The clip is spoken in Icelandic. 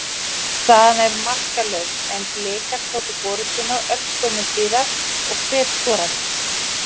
Staðan var markalaus en Blikar tóku forystuna örskömmu síðar og hver skoraði?